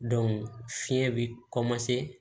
fiɲɛ bɛ